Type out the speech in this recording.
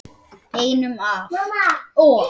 Einum of